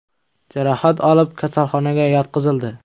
jarohat olib, kasalxonaga yotqizildi.